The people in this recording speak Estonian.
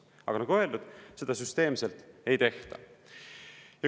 Aga nagu öeldud, seda süsteemselt ei tehta.